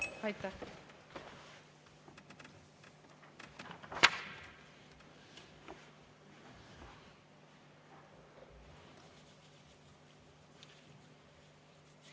Aitäh!